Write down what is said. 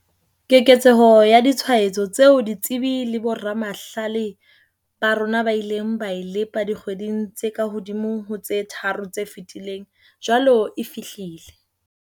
Keketseho ya ditshwaetso tseo ditsebi le boramahlale ba rona ba ileng ba e lepa dikgweding tse kahodimo ho tse tharo tse fetileng, jwale e fihlile.